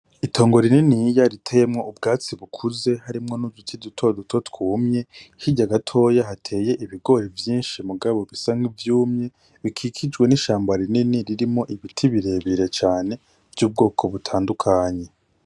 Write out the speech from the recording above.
Itongo rininiya riteyemwo ubwatsi bukuze, harimwo n'uduti dutoduto twumye. Hirya gatoya hateye ibigori vyinshi mugabo bisa n'ivyumye bikikijwe n'ishamba rinini ririmwo ibiti birebire cane vy'ubwoko butandukanye.